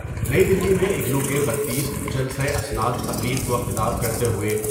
نئی دلی میں اگنو کے بتیس جلسه اسنادتقریب کو خطاب کرتے ہوۓ۔